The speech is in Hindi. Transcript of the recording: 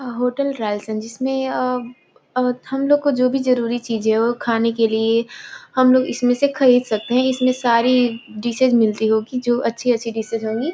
होटल रायसेन जिसमें अ हम लोगो को जो भी जरुरी चीज़ है वो खाने के लिए हम लोग इसमें से खरीद सकते है इसमें सारी डिशेज मिलती होंगी जो सारी अच्छी-अच्छी डिशेज होंगी।